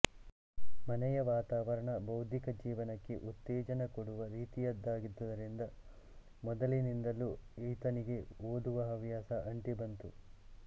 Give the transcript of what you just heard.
ಮನೆಯ ವಾತಾವರಣ ಬೌದ್ಧಿಕ ಜೀವನಕ್ಕೆ ಉತ್ತೇಜನ ಕೊಡುವ ರೀತಿಯದಾಗಿದ್ದುದರಿಂದ ಮೊದಲಿನಿಂದಲೂ ಈತನಿಗೆ ಓದುವ ಹವ್ಯಾಸ ಅಂಟಿ ಬಂತು